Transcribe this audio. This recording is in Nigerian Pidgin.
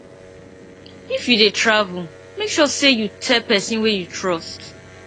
if you dey travel make sure say you tell person wey you trust